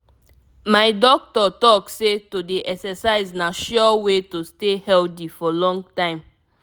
my doctor talk say to dey exercise na sure way to stay healthy for long time.